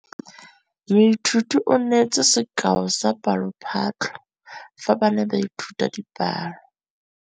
Moithuti o neetse sekaô sa palophatlo fa ba ne ba ithuta dipalo.